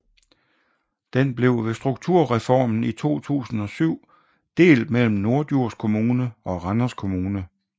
Den blev ved strukturreformen i 2007 delt mellem Norddjurs Kommune og Randers Kommune